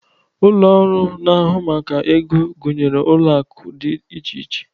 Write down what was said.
Ụlọ ọrụ na-ahụ maka ego gụnyere ụlọ akụ dị iche iche.